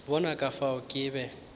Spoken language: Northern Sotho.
bona ka fao ke be